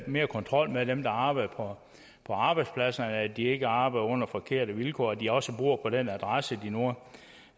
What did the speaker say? mere kontrol med dem der arbejder på arbejdspladserne altså at de ikke arbejder på forkerte vilkår og at de også bor på den adresse de nu